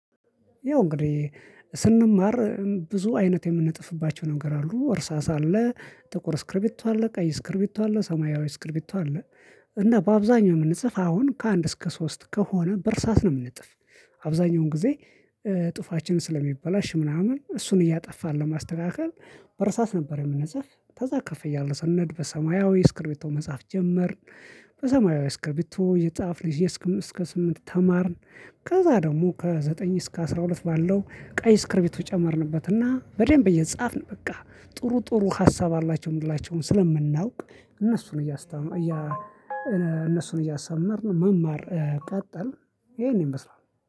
ያው እንግዲህ ስንማር ብዙ አይነት የምንጽፍባቸው ነገር አሉ። እርሳስ አለ፣ ጥቁር ስክሪብቶ አለ ቀይ ስክሪፕቶ አለ ሰማያዊ ስክሪፕቶ አለ። እና በአብዛኛው የምንጽፍ አሁን ከአንድ እስከ ሶስት ከሆነ በእርሳት ነው የምንጥፍ አብዛኛውን ጊዜ ጥሁፋችን ስለሚበላሽ ምናምን እሱን እያጠፋን ለማስተካከል በእርሳስ ነበር የምንጽፍ ከዛ ከፍ እያልን ስንሄድ በሰማያዊ ስክሪፕቶ መጻፍ ጀመርን በሰማያዊ ስክሪፕቶ እየጻፍን እስከ እስከ ስምንት ተማርን ከዛ ደግሞ ከዘጠኝ እስከ አስራ ሁለት ባለው ቀይ ስክሪፕቶ ጨመርንበትና በደንብ እየጻፍን በቃ ጥሩ ጥሩ ሀሳብ አላቸው የምንላቸውን ስለምናውቅ እነሱን እያሳመርን መማር ቀጠልን ይሄን ይመስላል።